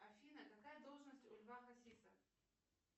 афина какая должность у льва хасиса